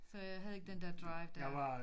Så jeg havde ikke den der drive dér